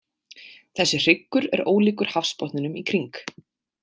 Þessi hryggur er ólíkur hafsbotninum í kring.